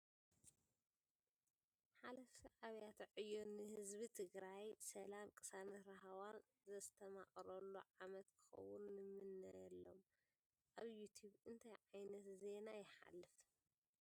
ሓለፍቲ ኣብያተ ዕዮ ን ህዝቢ ትግራይ ሰላም ቅሳነትን ራህዋን ዘስተማቅረሉ ዓመት ክክውን ንምነ ኣሎም ። ኣብ ዩቱብ እንታይ ዕይነት ዜን ይ ሓልፍ ?